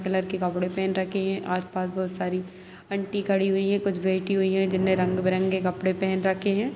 Colour के कपडे पहन रखे हैं और आस-पास बहुत सारी अंटी खड़ी हुई हैं। कुछ बैठी हुई हैं जिन्होंने रंग-बिरंगे कपड़े पहन रखे हैं।